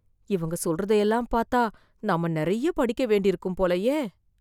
இவங்க சொல்றதைதெல்லாம் பார்த்த நம்ம நிறைய படிக்க வேண்டி இருக்கும் போலயே